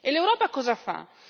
E l'Europa cosa fa?